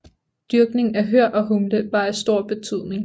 Dyrkning af hør og humle var af stor betydning